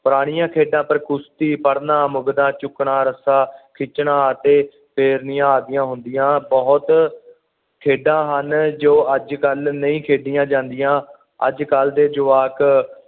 ਪੁਰਾਣੀਆਂ ਖੇਡਾਂ ਪਰ ਕੁਸ਼ਤੀ ਫੜ੍ਹਨ ਮੁਗਦਾ ਚੁੱਕਣਾ ਰਾਸਾਂ ਖਿੱਚਣਾ ਅਤੇ ਫੇਰਨੀਆਂ ਅਦੀਆਂ ਹੁੰਦੀਆਂ ਬੁਹਤ ਖੇਡਾਂ ਹਨ ਜੋ ਅੱਜ ਕੱਲ ਨਹੀਂ ਖੇਡੀਆਂ ਜਾਂਦੀਆਂ ਅੱਜ ਕੱਲ ਦੇ ਜੁਵਾਕ